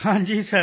ਹਾਂ ਜੀ ਸਰ